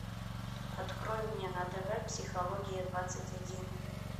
открой мне на тв психология двадцать один